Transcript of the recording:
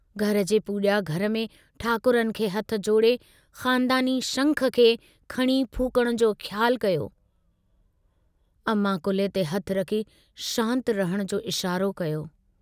घर जे पूजा घर में ठाकुरनि खे हथ जोड़े, ख़ानदानी शंखु खे खणी फूकण जो ख़्यालु कयो, अमां कुल्हे ते हथु रखी शांत रहण जो इशारो कयो।